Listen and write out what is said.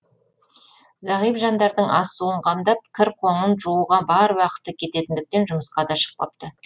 зағип жандардың ас суын қамдап кір қоңын жууға бар уақыты кететіндіктен жұмысқа да шықпапты